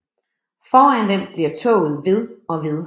Foran dem bliver toget ved og ved